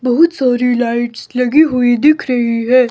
बहुत सारी लाइट्स लगी हुई दिख रही है।